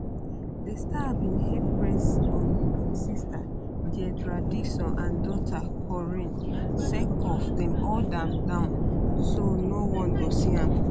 di star bin heap praise on im sister deidra dixon and daughter corinne sake of dem hold am down so noone go see am